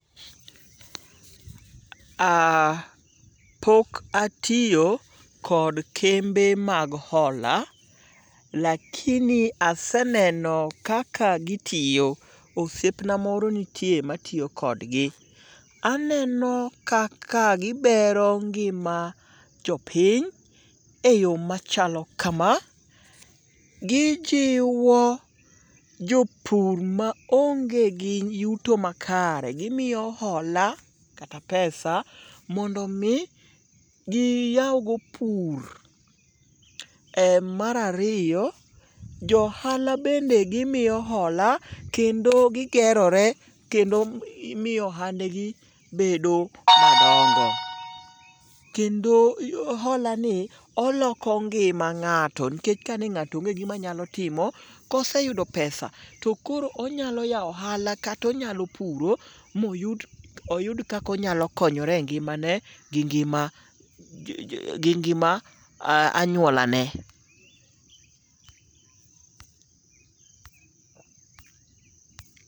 Pok atiyo kod kembe mag hola lakini aseneno kaka gitiyo. Osiepna moro nitie matiyo kodgi. Aneno kaka gibero ngima jopiny e yo machalo kama: Gijiwo jopur maonge gi yuto makare gimiyo hola kata pesa mondo omi giyaw go pur. Mar ariyo, jo ohala bende gimiyo hola kendo gigerore kendo miyo ohandgi bedo madongo, kendo holani oloko ngima ng'ato nkech ka ne ng'ato onge gi gima onyalo timo koro koseyudo pesa to onyalo yawo ohala kata onyalo puro moyud kaka onyalo konyore e ngimane gi ngima anyuolane.